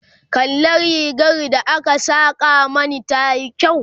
kalla rigar da aka Saka Mani tayi kyau?